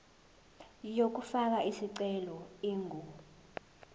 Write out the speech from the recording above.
yokufaka isicelo ingu